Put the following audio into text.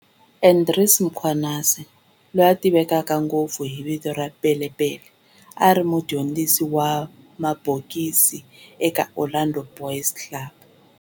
Andries Mkhwanazi, loyi a tiveka ngopfu hi vito ra Pele Pele, a ri mudyondzisi wa mabokisi eka Orlando Boys Club.